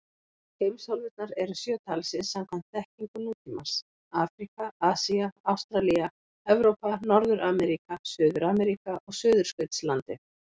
Heimsálfurnar eru sjö talsins samkvæmt þekkingu nútímans: Afríka, Asía, Ástralía, Evrópa, Norður-Ameríka, Suður-Ameríka og Suðurskautslandið.